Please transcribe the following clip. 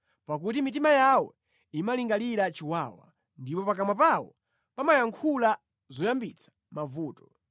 pakuti mitima yawo imalingalira chiwawa, ndipo pakamwa pawo pamayankhula zoyambitsa mavuto.